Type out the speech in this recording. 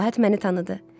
Məlahət məni tanıdı.